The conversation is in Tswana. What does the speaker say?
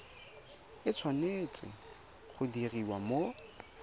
e tshwanetse go diriwa mo